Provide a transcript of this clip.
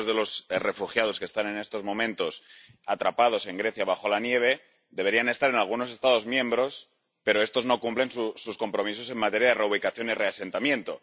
Que muchos de los refugiados que están en estos momentos atrapados en Grecia, bajo la nieve, deberían estar en algunos Estados miembros, pero estos no cumplen sus compromisos en materia de reubicación y reasentamiento.